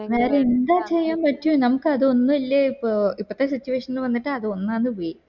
വേറെ എന്താ ചെയ്യാ പറ്റു നമക് അതൊന്നു ഇല്ല ഇപ്പൊ ഇപ്പത്തെ situation വന്നിട്ട് അത് ഒന്നാമത് പോയി